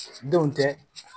Denw tɛ